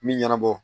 Min ɲɛnabɔ